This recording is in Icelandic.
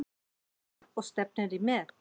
Anna: Og stefnir í met?